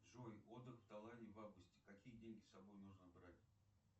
джой отдых в тайланде в августе какие деньги с собой нужно брать